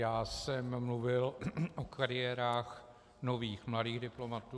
Já jsem mluvil o kariérách nových mladých diplomatů.